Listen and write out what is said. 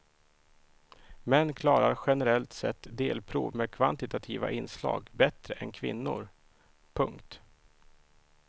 Män klarar generellt sett delprov med kvantitativa inslag bättre än kvinnor. punkt